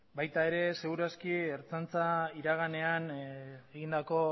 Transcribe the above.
baita ere segur aski ertzaintza iraganean egindako